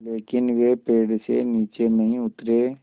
लेकिन वे पेड़ से नीचे नहीं उतरे